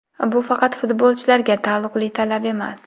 Bu faqat futbolchilarga taalluqli talab emas.